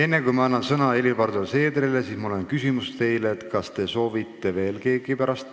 Enne, kui ma annan sõna Helir-Valdor Seederile, on mul küsimus: kas keegi soovib veel sõna võtta?